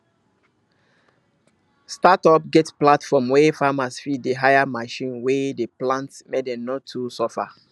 startup get platform wey farmers fit dey hire machine wey dey plant make dem no too suffer